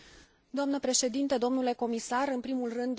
În primul rând, doresc să o felicit pe raportoare.